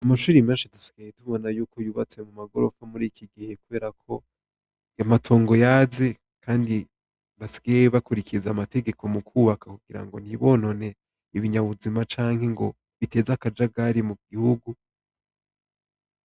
Amashuri menshi dusigaye tubona yuko yubatse mu magorofa muri iki gihe kubera ko amatongo yaze, kandi basigaye bakurikiriza amategeko mu kubaka kugira ngo ntibonone ibinyabuzima canke ngo biteze akajagari mu gihugu.